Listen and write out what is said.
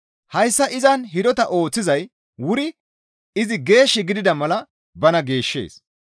Hayssa izan hidota ooththizay wuri izi geesh gidida mala bana geeshshees.